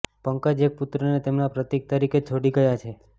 પંકજ એક પુત્રને તેમના પ્રતીક તરીકે છોડી ગયા છે